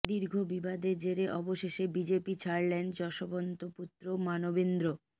দীর্ঘ বিবাদের জেরে অবশেষে বিজেপি ছাড়লেন যশবন্ত পুত্র মানবেন্দ্র